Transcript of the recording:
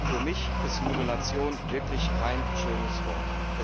Für mich ist Modulation wirklich kein schönes Wort.